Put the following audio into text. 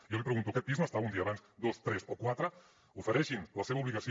jo li pregunto aquest pis no estava un dia abans dos tres o quatre ofereixin la seva obligació